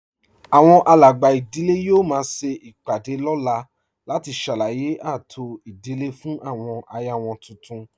Àwọn alàgbà ìdílé yóò máa ṣe ìpàdé lọ́la láti ṣàlàyé ààtò ìdílé fún àwọn aya wọn tuntun